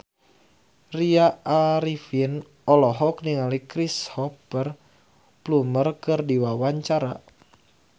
Tya Arifin olohok ningali Cristhoper Plumer keur diwawancara